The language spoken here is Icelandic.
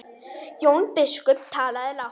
Jón biskup talaði lágt.